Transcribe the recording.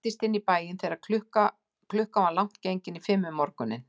Hann læddist inn í bæinn þegar klukkan var langt gengin í fimm um morguninn.